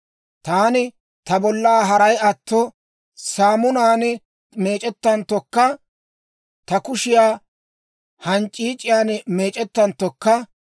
«Taani ta bollaa haray atto saamunaan meec'ettanttokka, ta kushiyaa hanc'c'iic'iyaan meec'c'anttokka,